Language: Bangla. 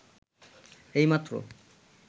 এইমাত্র